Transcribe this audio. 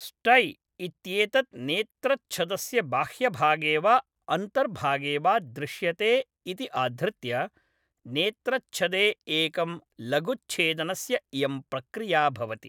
स्टै इत्येतत् नेत्रच्छदस्य बाह्यभागे वा अन्तर्भागे वा दृश्यते इति आधृत्य, नेत्रच्छदे एकं लघुच्छेदनस्य इयं प्रक्रिया भवति।